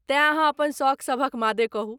तेँ अहाँ अपन सौख सभक मादे कहू।